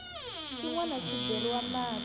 xin wana xi beriwa mati